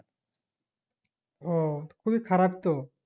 ও খুবই খারাপ তো